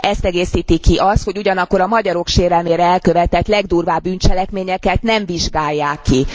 Ezt egészíti ki az, hogy ugyanakkor a magyarok sérelemére elkövetett legdurvább bűncselekményeket nem vizsgálják ki.